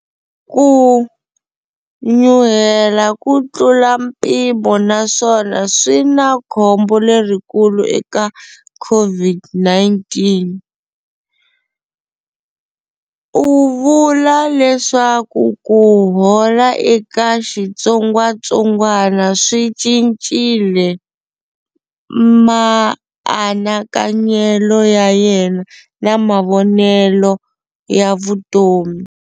Ku nyuhela ku tlula mpimo naswona swi na khombo lerikulu eka COVID-19. U vula leswaku ku hola eka xitsongwatsongwana swi cincile maanakanyelo ya yena na mavonelo ya vutomi.